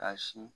K'a sin